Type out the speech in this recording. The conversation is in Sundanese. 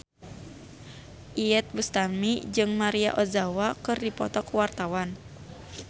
Iyeth Bustami jeung Maria Ozawa keur dipoto ku wartawan